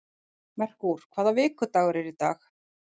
Merkúr, hvaða vikudagur er í dag?